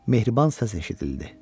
Mehriban səs eşidildi.